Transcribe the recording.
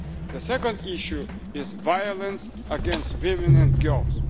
world. The second issue is violence against women and